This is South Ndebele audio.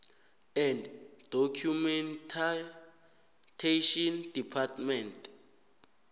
and documentation department